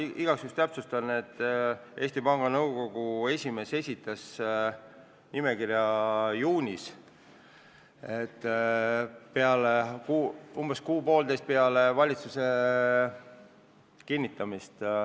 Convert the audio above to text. Ma igaks juhuks täpsustan, et Eesti Panga Nõukogu esimees esitas nimekirja juunis, umbes kuu-poolteist peale valitsuse kinnitamist.